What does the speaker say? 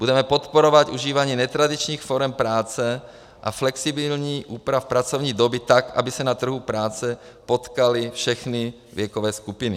Budeme podporovat užívání netradičních forem práce a flexibilních úprav pracovní doby tak, aby se na trhu práce potkaly všechny věkové skupiny.